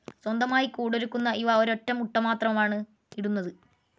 സ്വന്തമായി കൂടൊരുക്കുന്ന ഇവ ഒരൊറ്റ മുട്ട മാത്രമാണ് ഇടുന്നത്.